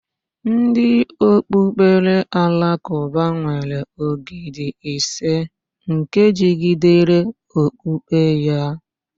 Ndị okpukpere Alakụba nwere ógìdì ise nke jigidere okpukpe ya.